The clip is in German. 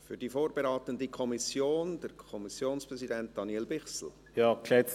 Für die vorberatende Kommission hat der Kommissionspräsident Daniel Bichsel das Wort.